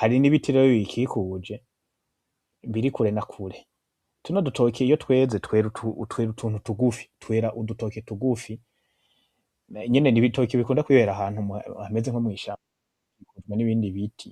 hari n'ibiti rero biyikikuje, biri kure na kure, tuno dutoki iyo tweze twera utuntu tugufi, twera udutoki tugufi, nyene n'ibitoki bikunda kwibera ahantu hameze nko mwishaba hari n'ibindi biti.